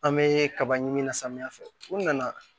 An bɛ kaba ɲini samiya fɛ u nana